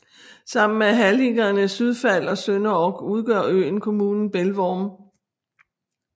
Sammen med halligerne Sydfald og Sønderog udgør øen kommunen Pelvorm